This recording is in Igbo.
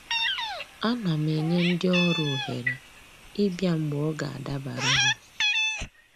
A na m enye ndị ọrụ ohere ịbịa mgbe ọ ga-adabara ha